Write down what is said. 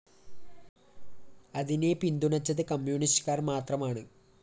അതിനെ പിന്തുണച്ചത് കമ്മ്യൂണിസ്റ്റുകാര്‍ മാത്രമാണ്